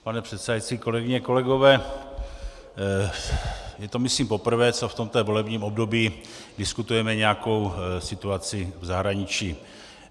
Pane předsedající, kolegyně, kolegové, je to myslím poprvé, co v tomto volebním období diskutujeme nějakou situaci v zahraničí.